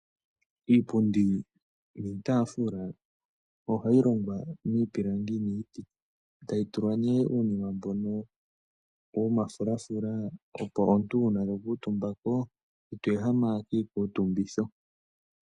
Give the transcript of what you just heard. Iipundi niitaafula ohayi longwa miipilangi etayi tulwa omafulafula, opo uuna omuntu ta kuutumba ko ite ehama kiikutumbitho.